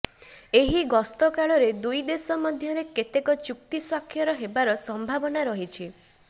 ଏହି ଗସ୍ତକାଳରେ ଦୁଇଦେଶ ମଧ୍ୟରେ କେତେକ ଚୁକ୍ତି ସ୍ବାକ୍ଷର ହେବାର ସମ୍ଭାବନା ରହିଛି